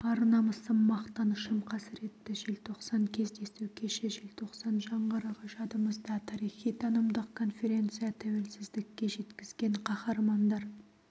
ар намысым мақтанышым қасіретті желтоқсан кездесу кеші желтоқсан жаңғырығы жадымызда тарихи танымдық конференция тәуелсіздікке жеткізген қаһармандар